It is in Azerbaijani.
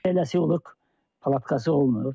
Eləsi olur ki, palatkası olmur.